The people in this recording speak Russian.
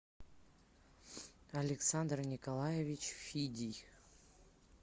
александр николаевич фидий